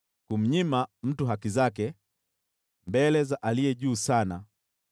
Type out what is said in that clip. Kumnyima mtu haki zake mbele za Aliye Juu Sana,